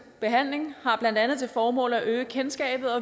behandling har blandt andet til formål at øge kendskabet